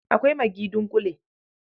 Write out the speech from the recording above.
Akwai maggi dunƙule.